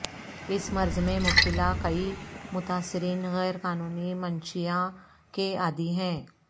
اس مرض میں مبتلا کئی متاثرین غیر قانونی منشیاں کے عادی ہیں